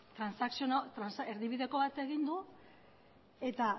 erdibideko bat egin du eta